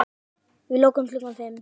Við lokum klukkan fimm.